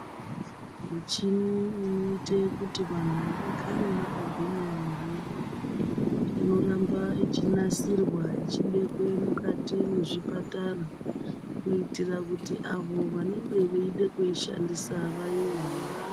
Mishini inoite kuti vanhu vagare vakagwinya mwiri yavo inoramba ichinasirwa ichibekwe mukati mwezvipatara kuitira kuti avo vanenge veida kuishandisa vaione.